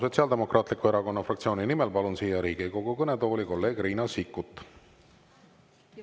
Sotsiaaldemokraatliku Erakonna fraktsiooni nimel palun siia Riigikogu kõnetooli kolleeg Riina Sikkuti.